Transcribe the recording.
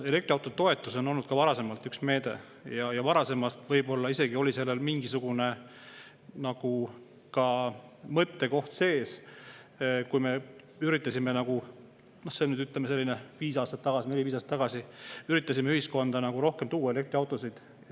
Elektriautotoetus on olnud üks meede, millel varasemalt võib-olla isegi oli mingisugune mõte sees, kui me üritasime, ütleme, neli-viis aastat tagasi ühiskonda rohkem elektriautosid tuua.